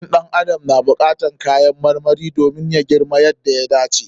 Jikin ɗan adam na buƙatan kayan marmari domin ya girma yadda ya dace.